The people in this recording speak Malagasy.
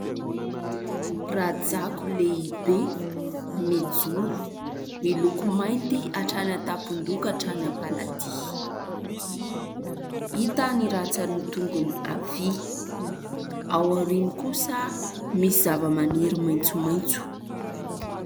Rajako lehibe mijoro, miloko mainty hatrany an-tampondoha ka hatrany am-paladia. Hita ny ratsan'ny tongony havia, ao aoriany kosa misy zava-maniry maitsomaitso.